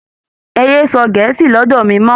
Ẹ yé sọ gẹ̀ẹ́sì lọ́dọ̀ mi mọ́!